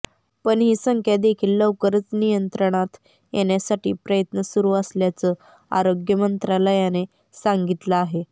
पण ही संख्या देखील लवकरच नियंत्रणात येण्यासाठी प्रयत्न सुरू असल्याचं आरोग्य मंत्रालयाने सांगितलं आहे